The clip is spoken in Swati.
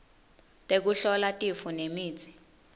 tekuhlola tifo nemitsi